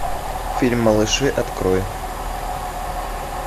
фильм малыши открой